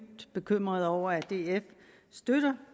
bekymret over at df støtter